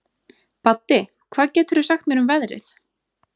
Baddi, hvað geturðu sagt mér um veðrið?